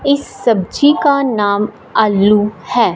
इस सब्जी का नाम आलू है।